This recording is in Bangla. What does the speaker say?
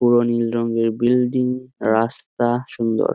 পুরো নীল রঙের বিল্ডিং রাস্তা সুন্দর।